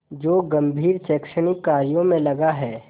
जो गंभीर शैक्षणिक कार्यों में लगा है